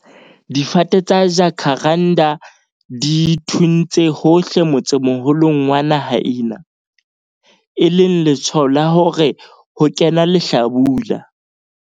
Difate tsa jacaranda di thuntse hohle motsemoholong wa naha ena, e leng letshwao la hore ho kena lehlabula.